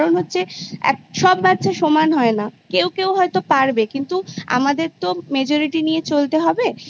হচ্ছে সব বাচ্ছা সমান হয় না কেউ হয়তো পারবে কিন্তু আমাদের তো Majority নিয়ে চলতে হবে